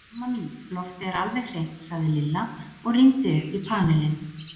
Amma mín, loftið er alveg hreint sagði Lilla og rýndi upp í panelinn.